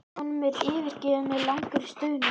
Honum er fyrirgefið með langri stunu.